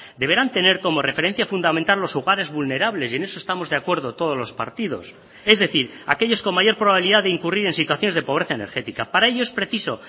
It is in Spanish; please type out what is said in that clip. deberán tener como referencia fundamental los hogares vulnerables y en eso estamos de acuerdo todos los partidos es decir aquellos con mayor probabilidad de incurrir en situaciones de pobreza energética para ello es preciso